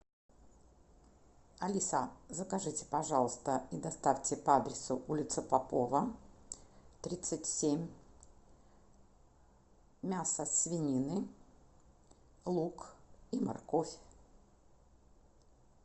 алиса закажите пожалуйста и доставьте по адресу улица попова тридцать семь мясо свинины лук и морковь